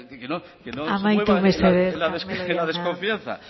se mueva en la desconfianza mesedez carmelo jauna amaitu mesedez